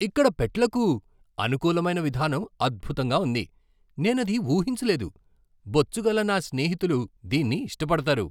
ఇక్కడ పెట్లకు అనుకూలమైన విధానం అద్భుతంగా ఉంది, నేనది ఊహించలేదు. బొచ్చుగల నా స్నేహితులు దీన్ని ఇష్టపడతారు!